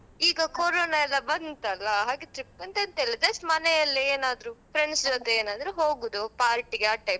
ಈಗ ಕೊರೊನ ಎಲ್ಲಾ ಬಂತಲ್ಲ ಹಾಗೆ trip ಅಂತ ಎಂಥ ಇಲ್ಲ just ಮನೆಯಲ್ಲೇ ಏನಾದ್ರು friends ಜೊತೆ ಏನಾದ್ರು ಹೋಗುದು party ಗೆ ಆ type .